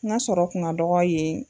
N'ga sɔrɔ kun ka dɔgɔ yen